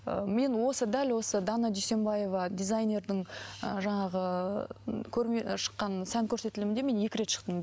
ыыы мен осы дәл осы дана дүйсенбаева дизайнердің ы жаңағы ыыы көрме шыққан сән көрсетілімінде мен екі рет шықтым